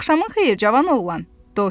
Axşamın xeyir, cavan oğlan.